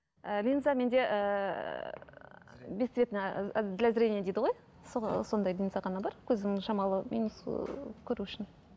і линза менде ііі без цветный для зрение дейді ғой сондай линза ғана бар көзім шамалы минус ыыы көру үшін